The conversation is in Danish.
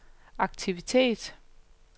aktivitet